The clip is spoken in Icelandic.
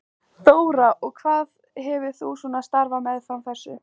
Þóra: Og hvað hefur þú svona starfað meðfram þessu?